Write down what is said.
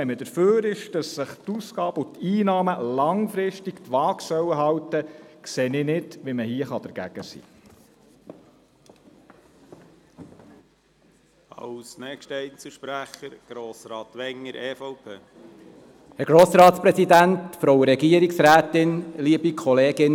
Wenn man dafür ist, dass sich die Ausgaben und Einnahmen langfristig die Waage halten sollen, sehe ich nicht ein, weshalb man dagegen sein kann.